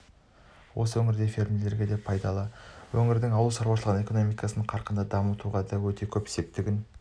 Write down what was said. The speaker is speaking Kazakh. осы өңірдегі фермерлерге де пайдалы өңірдің ауыл шаруашылығын экономикасын қарқынды дамытуға да өте көп септігін